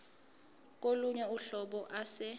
kolunye uhlobo ase